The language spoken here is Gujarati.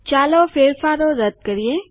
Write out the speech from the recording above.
ચાલો ફેરફારો રદ કરીએ